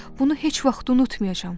Bunu heç vaxt unutmayacam.